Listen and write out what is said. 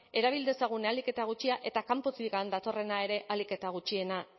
erabil dezagun ahalik eta gutxien eta kanpotik datorrena ere ahalik eta gutxiena